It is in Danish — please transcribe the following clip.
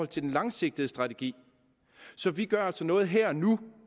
til den langsigtede strategi så vi gør altså noget her og nu